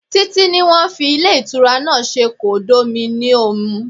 Títí ní wọ́n fi ilé ìtura náà ṣe kondominiomu.